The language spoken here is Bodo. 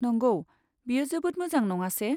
नंगौ, बेयो जोबोद मोजां नङासे?